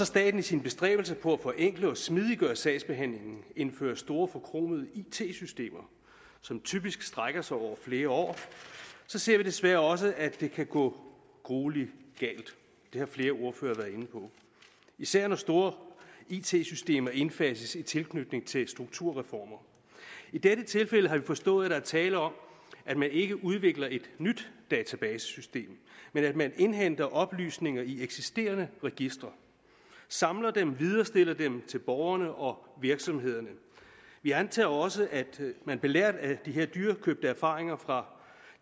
staten i sine bestræbelser på at forenkle og smidiggøre sagsbehandlingen indfører store forkromede it systemer som typisk strækker sig over flere år så ser vi desværre også at det kan gå gruelig galt det har flere ordførere været inde på især når store it systemer indfases i tilknytning til strukturreformer i dette tilfælde har vi forstået er der tale om at man ikke udvikler et nyt databasesystem men at man indhenter oplysninger i eksisterende registre samler dem viderestiller dem til borgerne og virksomhederne vi antager også at man belært af de her dyrekøbte erfaringer fra